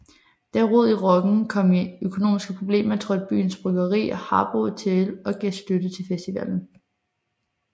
Da Rod i Rocken kom i økonomiske problemer trådte byens bryggeri Harboe til og gav støtte til festivalen